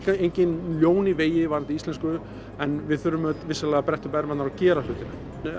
engin ljón í vegi varðandi íslensku en við þurfum vissulega að bretta upp ermarnar og gera hlutina